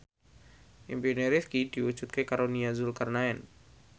impine Rifqi diwujudke karo Nia Zulkarnaen